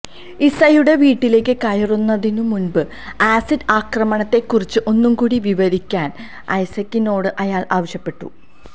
ഇസയുടെ വീട്ടിലേക്ക് കയറുന്നതിനു മുന്പ് ആസിഡ് ആക്രമണത്തെ കുറിച്ച് ഒന്നുകൂടി വിവരിക്കാന് ഐസക്കിനോട് അയാള് ആവശ്യപ്പെട്ടു